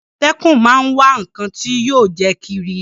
Àmọ̀tẹ́kún máa ń wá ǹnkan tí yóò jẹ́ kírí